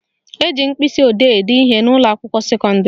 Eji mkpịsịodee ede ihe n'ụlọakwụkwọ sekọndịrị